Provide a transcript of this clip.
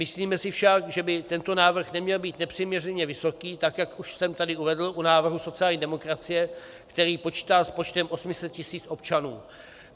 Myslíme si však, že by tento návrh neměl být nepřiměřeně vysoký, tak jak už jsem tady uvedl u návrhu sociální demokracie, který počítá s počtem 800 tisíc občanů.